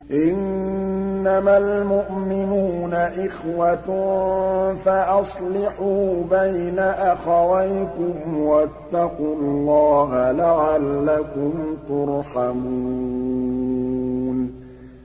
إِنَّمَا الْمُؤْمِنُونَ إِخْوَةٌ فَأَصْلِحُوا بَيْنَ أَخَوَيْكُمْ ۚ وَاتَّقُوا اللَّهَ لَعَلَّكُمْ تُرْحَمُونَ